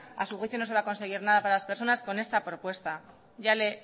a su juicio no se va a conseguir nada para las personas con esta propuesta